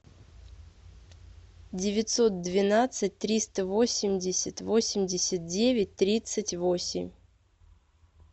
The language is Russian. девятьсот двенадцать триста восемьдесят восемьдесят девять тридцать восемь